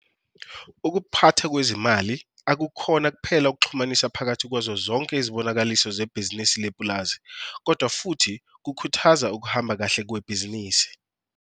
Ukuphathwa kwezimali ukukhona kuphela ukuxhumanisa phakathi kwazozonke izibonakaliso zebhizinisi lepulazi, kodwa futhi kukhuthaza ukuhamba kahle kwebhizinisi.